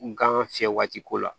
N gan fiyɛ waati ko la